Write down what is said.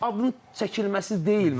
Şərt adın çəkilməsi deyil məncə.